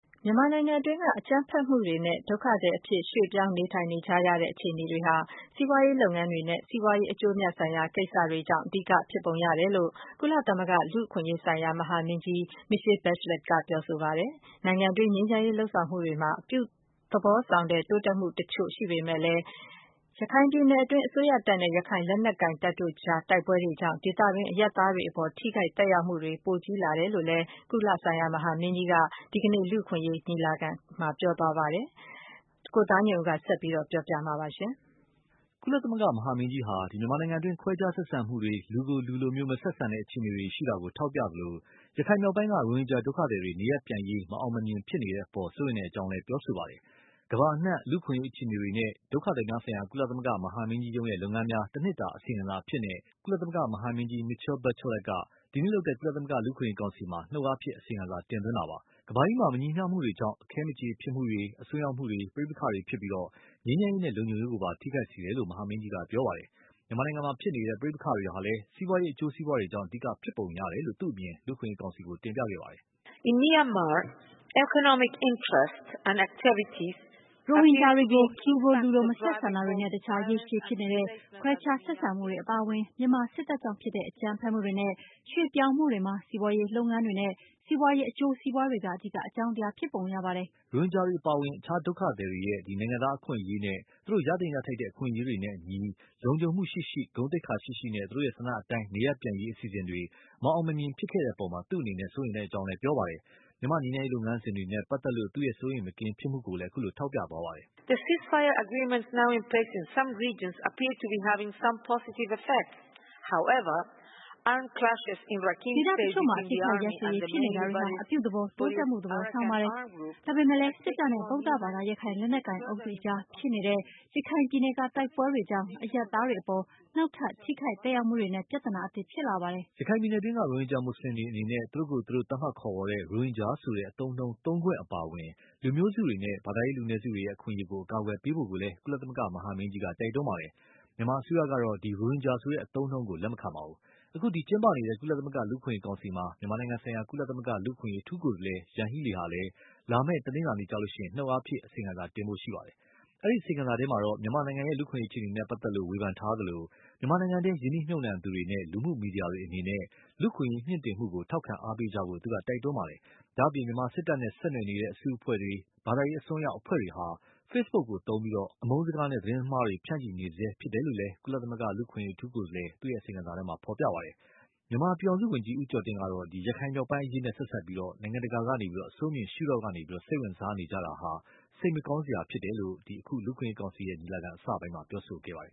မြန်မာနိုင်ငံတွင်းက အကြမ်းဖက်မှုတွေနဲ့ ဒုက္ခသည် အဖြစ်ရွှေ့ပြောင်းနေထိုင် ရတဲ့အခြေအနေတွေဟာ စီးပွားရေးလုပ်ငန်းတွေနဲ့ စီးပွားရေး အကျိုးအမြတ် ဆိုင်ရာကိစ္စတွေကြောင့် အဓိက ဖြစ်ပုံရတယ်လို့ ကုလသမဂ္ဂ လူ့အခွင့်အရေးဆိုင်ရာ မဟာမင်းကြီး Michelle Bachelet က ပြောဆိုပါတယ်။ နိုင်ငံတွင်း ငြိမ်းချမ်းရေး လုပ်ဆောင်မှုတွေမှာ အပြုသဘောဆောင်တိုးတက်မှုအချို့ရှိပေမယ့်လည်း၊ ရခိုင်ပြည်နယ်တွင်း အစိုးရတပ်နဲ့ ရခိုင်လက်နက်ကိုင်တို့အကြားတိုက်ပွဲတွေကြောင့် ဒေသတွင်း အရပ်သားတွေအပေါ် ထိခိုက်သက်ရောက်မှုတွေ ပိုကြီးလာတယ်လို့လည်း ကုလ မဟာမင်းကြီးက ဒီကနေ့ လူ့အခွင့်အရေးကောင်စီ ညီလာခံမှာ ပြောဆို သွားပါတယ်။ ကိုသားညွန့်ဦး ဆက်ပြီး ပြောပြပါလိမ့်မယ်။ ကုလမဟာမင်းကြီးဟာ မြန်မာနိုင်ငံတွင်း ခွဲခြားဆက်ဆံမှုတွေ လူကိုလူလို မဆက်ဆံတဲ့ အခြေအနေတွေရှိတာကို ထောက်ပြသလို၊ ရခိုင်မြောက်ပိုင်းက ရိုဟင်ဂျာဒုက္ခသည်တွေ နေရပ်ပြန်ရေးမအောင်မမြင် ဖြစ်နေတဲ့အပေါ် စိုးရိမ်တဲ့အကြောင်းလည်း ပြောဆိုပါတယ်။ ကမ္ဘာအနှံ လူ့အခွင့်အရေးအခြေအနေနဲ့ ဒုက္ခသည်များဆိုင်ရာ ကုလသမဂ္ဂမဟာမင်းကြီးရုံး ရဲ့လုပ်ငန်းများ တနှစ်တာအစီရင်ခံစာအဖြစ်နဲ့ ကုလမဟာမင်းကြီး Michelle Bachelet က ဒီနေ့လုပ်တဲ့ ကုလသမဂ္ဂ လူ့အခွင့်အရေး ကောင်စီကို နှုတ်အားဖြင့် အစီရင်ခံစာ တင်သွင်းတာပါ။ ကမ္ဘာကြီးမှာ မညီမျှမှုတွေကြောင့် အခဲမကြေဖြစ်မှုတွေ အစွန်းရောက်မှုတွေ ပဋိပက္ခတွေဖြစ်ပြီး ငြိမ်းချမ်းရေးနဲ့လုံခြုံရေးကိုပါ ထိခိုက်စေတယ်လို့ မဟာမင်းကြီးက ပြောပါတယ်။ မြန်မာနိုင်ငံမှာဖြစ်နေတဲ့ ပဋိပက္ခတွေဟာလည်း စီးပွားရေးအကျိုး စီးပွားတွေကြောင့် အဓိက ဖြစ်ပုံရတယ်လို့ သူ့ အမြင် လူ့အခွင့်အရေးကောင်စီကို တင်ပြခဲ့ပါတယ်။ “ ရိုဟင်ဂျာတွေကို လူကို လူလို မဆက်ဆံတာတွေနဲ့ အခြား ရေရှည်ဖြစ်နေတဲ့ ခွဲခြား ဆက်ဆံမှုတွေအပါအဝင်၊ မြန်မာစစ်တပ်ကြောင့်ဖြစ်တဲ့ အကြမ်းဖက်မှုတွေနဲ့ ရွေ့ပြောင်းမှုတွေ မှာ စီးပွားရေးလုပ်ငန်းတွေနဲ့ စီးပွားရေး အကျိုးစီးပွားတွေက အဓိက အကြောင်းတရားဖြစ်ပုံရပါတယ်။” ရိုဟင်ဂျာတွေအပါအဝင် ဒုက္ခသည်တွေရဲ့ နိုင်ငံသားအခွင့်အရေးနဲ့ သူတို့ ရသင့်ရထိုက်တဲ့ အခွင့်အရေးတွေနဲ့အညီ လုံခြုံမှုရှိရှိ ဂုဏ်သိက္ခာရှိရှိနဲ့ သူတို့ ဆန္ဒတိုင်းနေရပ်ပြန်ရေး အစီအစဉ်တွေ မအောင်မမြင်ဖြစ်ခဲ့တဲ့အပေါ် သူ့အနေနဲ့ စိုးရိမ်ကြောင်း ပြောပါတယ်။ မြန်မာငြိမ်းချမ်းရေးလုပ်ငန်းစဉ်တွေနဲ့ပတ်သက်လို့ သူ့စိုးရိမ်မကင်း ဖြစ်မှုကိုလည်း ပြောသွားပါတယ်။ “ ဒေသအချို့မှာ အပစ်အခတ်ရပ်စဲရေးဖြစ်နေတာတွေဟာ အပြုသဘော တိုးတက်မှု သဘောဆောင်ပါတယ်။ ဒါပေမယ့်လည်း စစ်တပ်နဲ့ ဗုဒ္ဓဘာသာ ရခိုင်လက်နက်ကိုင် အုပ်စုအကြားဖြစ်နေတဲ့ ရခိုင်ပြည်နယ်က တိုက်ပွဲတွေကြောင့် အရပ်သားတွေအပေါ် နောက်ထပ် ထိခိုက်သက်ရောက်မှုတွေနဲ့ ပြဿနာသစ်ဖြစ်လာပါတယ်။” ရခိုင်ပြည်နယ်တွင်းက ရိုဟင်ဂျာမွတ်ဆလင်တွေအနေနဲ့ သူတို့ကိုယ်သူတို့ သတ်မှတ်ခေါ်ဝေါ်တဲ့ ရိုဟင်ဂျာဆိုတဲ့ အသုံးအနှုံးသုံးခွင့်အပါအဝင် လူမျိုးစုတွေနဲ့ ဘာသာရေးလူနည်းစုတွေရဲ့ အခွင့်အရေးကို အကာအကွယ်ပေးဖို့ကိုလည်း ကုလ မဟာမင်းကြီးက တိုက်တွန်းခဲ့ပါတယ်။ မြန်မာအစိုးရကတော့ ရိုဟင်ဂျာဆိုတဲ့ အသုံးအနှုန်းကိုလက်မခံပါဘူး။ အခု ကျင်းပနေတဲ့ ကုလသမဂ္ဂလူ့အခွင့်အရေးကောင်စီမှာ မြန်မာနိုင်ငံဆိုင်ရာ ကုလလူ့အခွင့်အရေးအထူးကိုယ်စားလှယ် Yanhee Lee ကလည်း လာမယ့် တနလာၤနေ့ကျရင် နှုတ်အားဖြင့် အစီရင်ခံစာတင်ဖို့ရှိပါတယ်။ အဲဒီအစီရင်ခံစာထဲ မြန်မာ့လူ့အခွင့်အရေးအခြေအနေ နဲ့ ပတ်သက်လို့ ဝေဖန်ထားသလို၊ မြန်မာနိုင်ငံတွင်း ရင်းနှီးမြှူပ်နှံသူတွေနဲ့ လူမှုမီဒီယာတွေအနေနဲ့ လူ့အခွင့်အရေးမြင့်တင်မှု ထောက်ခံအားပေးကြဖို့ သူက တိုက်တွန်းထားပါတယ်။ ဒါ့အပြင် မြန်မာစစ်တပ်နဲ့ဆက်နွယ်နေတဲ့အစုအဖွဲ့တွေ၊ ဘာသာရေး အစွန်းရောက်အဖွဲ့တွေဟာ Facebook ကိုအသုံးပြုပြီး အမုန်းစကားတွေနဲ့ သတင်းမှားတွေ ဆက် ဖြန့်ချီနေတယ်လို့လည်း ကုလလူ့အခွင့်အရေး အထူးကိုယ်စားလှယ် အစီရင်ခံစာမှာ ပါရှိပါတယ်။ မြန်မာပြည်ထောင်စုဝန်ကြီး ဦးကျော်တင် ကတော့ ရခိုင်မြောက်ပိုင်းအရေးနဲ့ဆက်စပ်ပြီး နိုင်ငံတကာဟာ အဆိုးမြင်ရှုထောင့်ကနေ စိတ်ဝင်စားနေကြတာဟာ စိတ်မကောင်းစရာဖြစ်တယ်လို့ အခု လူ့အခွင့်အရေးကောင်စီ ညီလာခံအစပိုင်းမှာ ပြောဆိုခဲ့ပါတယ်